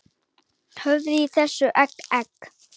Horfðu í þessa egg, egg